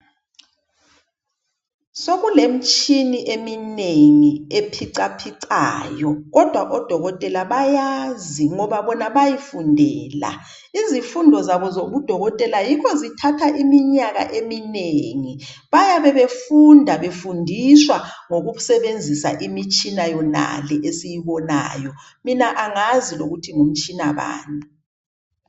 Sokule mtshini eminengi ephicaphicayo, kodwa odokotela bayazi. Ngoba bona bayifundela. Izifundo zabo zobu dokotela yikho zithatha iminyaka eminengi. Bayabe befunda befundiswa ngokusebenzisa imitshina yona le esiyibonayo. Mina angazi lokuthi ngu mtshina bani.